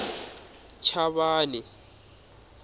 chavani